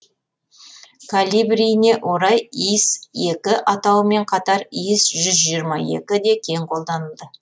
калибріне орай ис екі атауымен қатар ис жүз жиырма екі де кең қолданылды